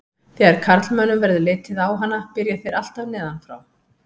Þegar karlmönnum verður litið á hana byrja þeir alltaf neðan frá.